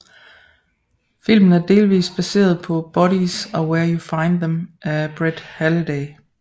Filmen er delvist baseret på Bodies Are Where You Find Them af Brett Halliday